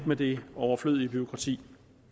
med det overflødige bureaukrati